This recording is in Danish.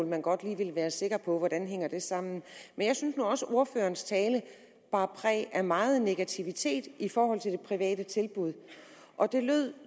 man godt lige vil være sikker på hvordan noget hænger sammen men jeg synes nu også at ordførerens tale bar præg af meget negativitet i forhold til det private tilbud og det lød